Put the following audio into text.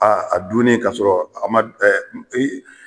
a dunni ka sɔrɔ a ma